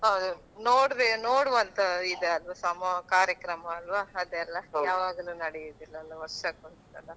ನೋಡ್~ ನೋಡವಂತ ಇದ್ ಅಲ್ವಾ ಸಮ ಕಾರ್ಯಕ್ರಮ ಅಲ್ವ ಅದೆಲ್ಲ ಯಾವಾಗ್ಲೂ ನಡಿಯುದಿಲ್ಲ ಅಲ್ಲ ವರ್ಷಕೊಂದ್ಸಲ.